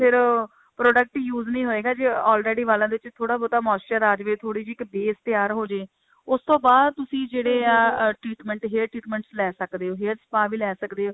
ਫਿਰ product use ਨਹੀਂ ਹੋਏਗਾ ਜੇ already ਵਾਲਾਂ ਦੇ ਉੱਤੇ ਥੋੜਾ ਬਹੁਤਾ moisture ਆਜੇ ਥੋੜੀ ਜੀ ਇੱਕ base ਤਿਆਰ ਹੋ ਜਾਏ ਉਸ ਤੋਂ ਬਾਅਦ ਤੁਸੀਂ ਜਿਹੜੇ ਅਹ treatment hair treatment ਲੈ ਸਕਦੇ ਹੋ hair spa ਵੀ ਲੈ ਸਕਦੇ ਹੋ